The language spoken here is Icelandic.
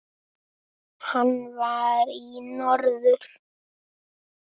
Hann var í norður.